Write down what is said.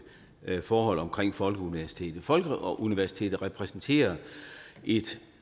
forhold omkring folkeuniversitetet folkeuniversitetet repræsenterer et